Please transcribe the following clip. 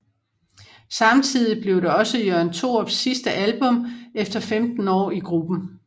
Samtidig blev det også Jørgen Thorups sidste album efter 15 år i gruppen